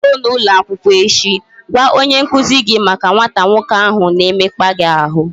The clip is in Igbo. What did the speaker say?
I ruo n'ụlọ akwụkwọ echi, gwa onye nkuzi gị maka nwata nwoke ahụ na-emekpa gị ahụ